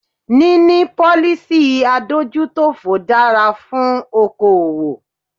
Níní policy adójútòfò dára fún okoòwò.